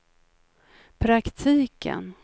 praktiken